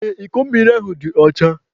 Ee, iko mmiri ahụ dị ọcha.